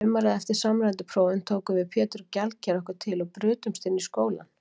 Sumarið eftir samræmdu prófin tókum við Pétur gjaldkeri okkur til og brutumst inn í skólann.